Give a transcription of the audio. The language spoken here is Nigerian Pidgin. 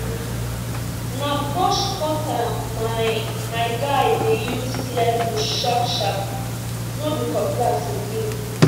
na brush cutter my my guy dey use clear bush sharp sharp no be cutlass again